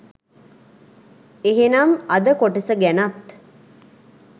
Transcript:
එහෙනම් අද කොටස ගැනත්